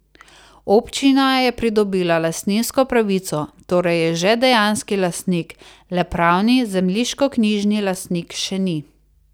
Občina je pridobila lastninsko pravico, torej je že dejanski lastnik, le pravni, zemljiškoknjižni lastnik še ni.